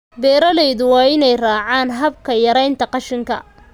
Beeralayda waa in ay raacaan hababka yaraynta qashinka.